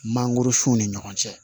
Mangoro sunw ni ɲɔgɔn cɛ